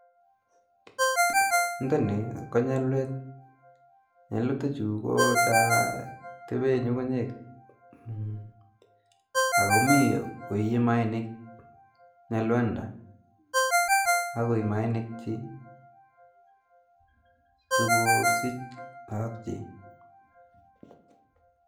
Nthani ko nyalwet ,nyalwet chutachu ko cho tepee nyukunyek akomii koiye maanik nyalwanda, kakoi ii maanik chi so kosich lakok chi